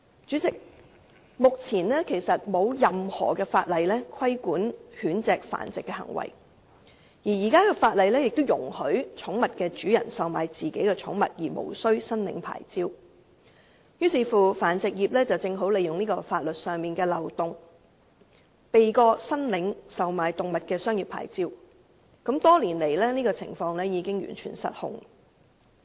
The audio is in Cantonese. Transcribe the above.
主席，由於目前並沒有任何法例規管狗隻繁殖行為，而現時的法例亦容許寵物主人售賣自己的寵物而無須申領牌照，於是繁殖業正好利用這個法律上的漏洞，避過申領售賣動物的商業牌照，多年來這種情況已經完全失控。